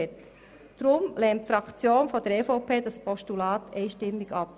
Deshalb lehnt die EVPFraktion dieses Postulat einstimmig ab.